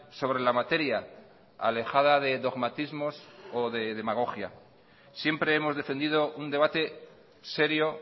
sobre la materia alejada de dogmatismos o de demagogia siempre hemos defendido un debate serio